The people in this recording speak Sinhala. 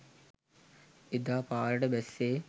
එදා පාරට බැස්සේ